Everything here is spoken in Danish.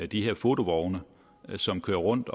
de her fotovogne som kører rundt